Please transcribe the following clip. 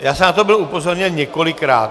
Já jsem na to byl upozorněn několikrát.